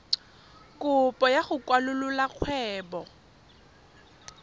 kopo ya go kwalolola kgwebo